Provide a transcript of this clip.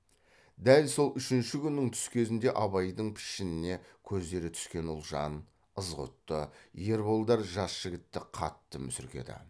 дәл сол үшінші күннің түс кезінде абайдың пішініне көздері түскен ұлжан ызғұтты ерболдар жас жігітті қатты мүсіркеді